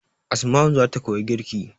Asma'u zata koyi girki